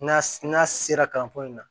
N'a n'a sera kalanko in na